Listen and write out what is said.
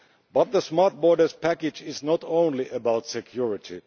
But the Smart Borders Package is not only about security.